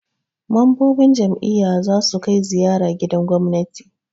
Mambobin jam'iyya za su kai ziyara gidan gwamnati.